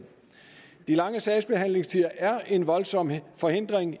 de lange sagsbehandlingstider er en voldsom forhindring